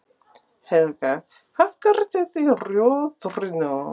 Helga: Hvað gerið þið í Rjóðrinu?